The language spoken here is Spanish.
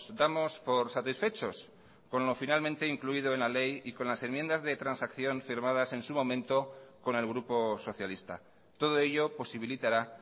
damos por satisfechos con lo finalmente incluido en la ley y con las enmiendas de transacción firmadas en su momento con el grupo socialista todo ello posibilitará